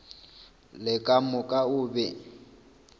le ka moka o be